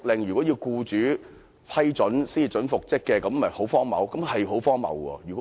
現時要僱主批准才可執行復職令，這豈不是很荒謬？